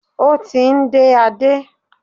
Ó ti ń dé Adé.